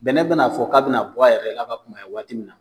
Bɛnɛ bɛn'a fɔ k'a bɛna bɔ a yɛrɛ la ka kunbaya yen waati min na